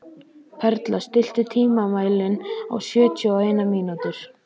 Perla, stilltu tímamælinn á sjötíu og eina mínútur.